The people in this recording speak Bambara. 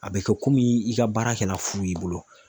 A bɛ kɛ komi i ka baara kɛra fu y'i bolo